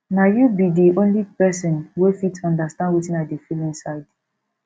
na you be di only person wey fit understand wetin i dey feel inside